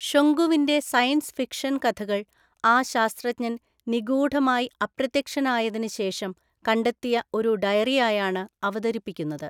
ഷൊങ്കുവിന്റെ science fiction കഥകൾ ആ ശാസ്ത്രജ്ഞൻ നിഗൂഢമായി അപ്രത്യക്ഷനായതിന് ശേഷം കണ്ടെത്തിയ ഒരു ഡയറിയായാണ് അവതരിപ്പിക്കുന്നത്.